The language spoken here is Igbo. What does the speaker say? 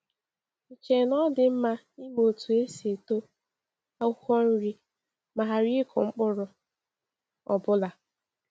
Ì chee na ọ dị mma ịmụ otú esi eto akwụkwọ nri ma ghara ịkụ mkpụrụ ọbụla?